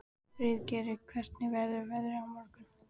Friðgeir, hvernig verður veðrið á morgun?